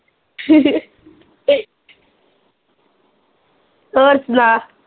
ਹੋਰ ਸੁਣਾ